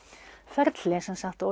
ferli